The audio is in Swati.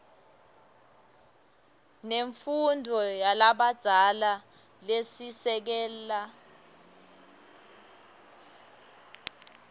nemfundvo yalabadzala lesisekelo